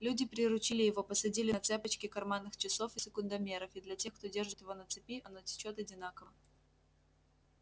люди приручили его посадили на цепочки карманных часов и секундомеров и для тех кто держит его на цепи оно течёт одинаково